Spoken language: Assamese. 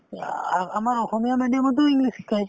এই আ~ আমাৰ অসমীয়া medium তো english শিকায়